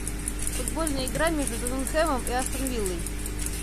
футбольная игра между тоттенхэмом и астон виллой